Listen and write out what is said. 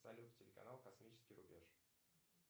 салют телеканал космический рубеж